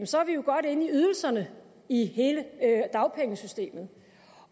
så er vi jo godt inde i ydelserne i hele dagpengesystemet